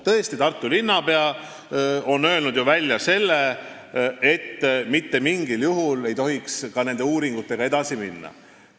Tõesti, Tartu linnapea on ju öelnud, et mitte mingil juhul ei tohiks ka uuringutega edasi minna.